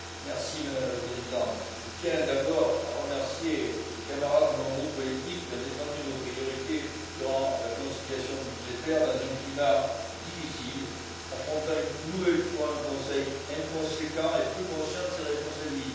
Madame la Présidente, je tiens d'abord à remercier les camarades de mon groupe politique qui ont défendu nos priorités durant la conciliation budgétaire dans un climat difficile, affrontant une nouvelle fois un Conseil inconséquent et peu conscient de ses responsabilités.